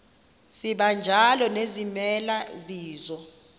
sibanjalo nezimela bizo